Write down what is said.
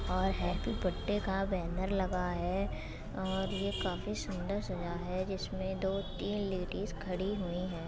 और happy birthday का banner लगा है और ये काफी सुंदर सजा है जिसमें दो तीन लेडीज खड़ी हुई हैं।